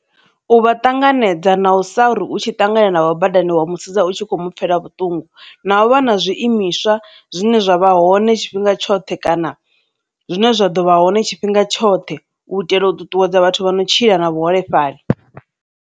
U vha ṱanganedza na u sa ri u tshi ṱangana navho badani wa mu sedza u tshi kho mu pfhela vhuṱungu, na u vha na zwiimiswa zwine zwa vha hoṋe tshifhinga tshoṱhe kana zwine zwa ḓo vha hone tshifhinga tshoṱhe u itela u ṱuṱuwedza vhathu vha no tshila na vhuholefhali.